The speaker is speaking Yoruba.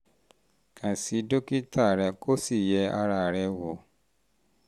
kàn sí kàn sí dókítà rẹ kó o sì yẹ ara rẹ wò